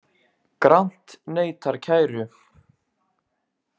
Grant neitar kæru